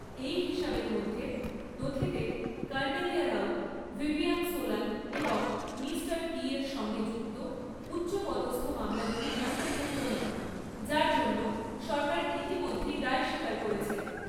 এই হিসাবের মধ্যে, নথিতে কর্নেলিয়া রউ, ভিভিয়ান সোলান এবং 'মিস্টার টি'র সঙ্গে যুক্ত উচ্চ পদস্থ মামলাগুলি অন্তর্ভুক্ত নয়, যার জন্য সরকার ইতিমধ্যেই দায় স্বীকার করেছে৷